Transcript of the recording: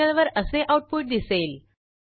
टर्मिनलवर असे आऊटपुट दिसेल